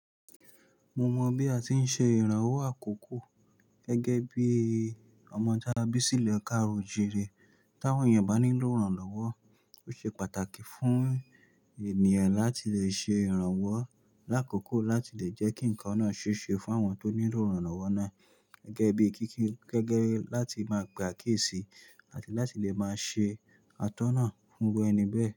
Mo mọ bí a ti ń ṣe ìrànwọ́ àkókò gẹ́gẹ́ bí ọmọ ta bísí ilu káàró o jire t'áwọn èèyàn bá níló iranlọwọ. Ó ṣe pàtàkì fún ènìyàn láti lè ṣe ìrànwọ́ lákòókò láti lè jẹ́ kí nǹkan náà ṣe é ṣe fún àwọn tó nílò ìrànwọ́ náà gẹ́gẹ́ bí kíké gẹ́gẹ́ láti máa pe àkíyèsí àti láti lè máa ṣe atọ́nà fún ẹni bẹ́ẹ̀